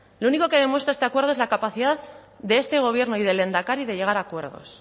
lo único que demuestra este acuerdo es la capacidad de este gobierno y del lehendakari de llegar a acuerdos